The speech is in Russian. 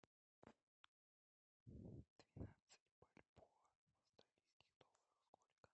двенадцать бальбоа в австралийских долларах сколько